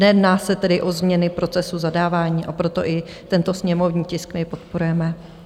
Nejedná se tedy o změny procesu zadávání, a proto i tento sněmovní tisk my podporujeme.